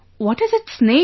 What is its name